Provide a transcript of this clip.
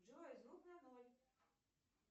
джой звук на ноль